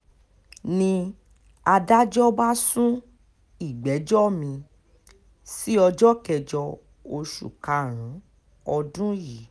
ni adájọ́ bá sún ìgbẹ́jọ́ mi-ín sí ọjọ́ kẹjọ oṣù karùn-ún ọdún yìí